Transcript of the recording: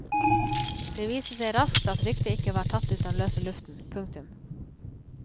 Det viste seg raskt at ryktet ikke var tatt ut av løse luften. punktum